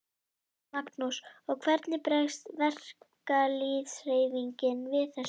Magnús: Og hvernig bregst verkalýðshreyfingin við þessu?